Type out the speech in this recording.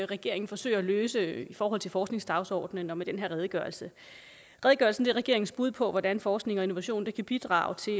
regeringen forsøger at løse i forhold til forskningsdagsordenen og med den her redegørelse redegørelsen er regeringens bud på hvordan forskning og innovation kan bidrage til